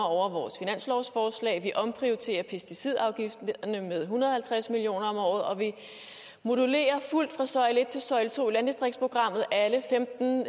over vores finanslovsforslag vi omprioriterer pesticidafgifterne med en hundrede og halvtreds million kroner om året og vi modulerer fuldt fra søjle et til søjle to i landdistriktsprogrammet alle femten